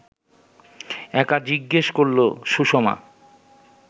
একা জিজ্ঞেস করল সুষমা